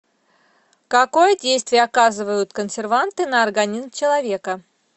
какое действие оказывают консерванты на организм человека